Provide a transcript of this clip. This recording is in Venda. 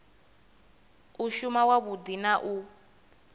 u shuma wavhudi na u